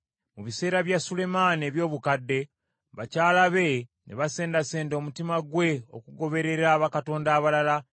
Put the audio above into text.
Mu bisera bya Sulemaani eby’obukadde, bakyala be ne basendasenda omutima gwe okugoberera bakatonda abalala.